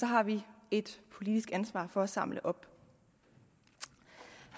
har vi et politisk ansvar for at samle op